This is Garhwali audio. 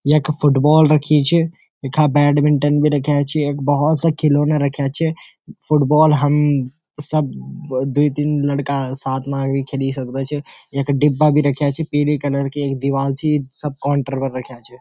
यख फुटबॉल रखी च यखा बैडमिनटन भी रख्याँ छि एक भौत सा खिलौना रख्याँ छ फुटबॉल हम सब द्वि तीन लड़का साथ मा भी खेली सकदा छ यख डिब्बा भी रख्याँ छ पीली कलर की एक दिवाल छि सब काउंटर पर रख्याँ छ।